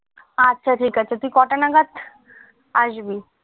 আচ্ছা ঠিক আছে তুই কটা নাগাত আসবি